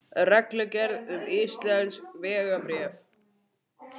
Reglugerð um íslensk vegabréf.